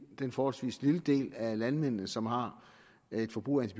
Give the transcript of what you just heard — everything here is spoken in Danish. i den forholdsvis lille del af landmændene som har et forbrug af